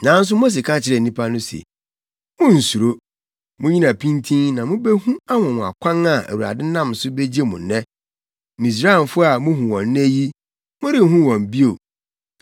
Nanso Mose ka kyerɛɛ nnipa no se, “Munnsuro. Munnyina pintinn na mubehu anwonwakwan a Awurade nam so begye mo nnɛ. Misraimfo a muhu wɔn nnɛ yi, morenhu wɔn bio.